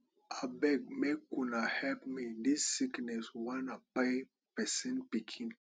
abeg make una help me dis sickness wan kpai pesin pikin